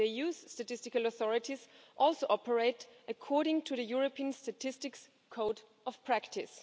The EU's statistical authorities also operate according to the European Statistics Code of Practice.